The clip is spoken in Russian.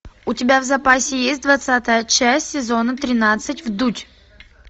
у тебя в запасе есть двадцатая часть сезона тринадцать вдуть